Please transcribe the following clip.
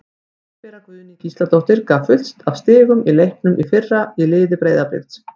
Hallbera Guðný Gísladóttir gaf fullt af stigum í leiknum í fyrra í liði Breiðabliks.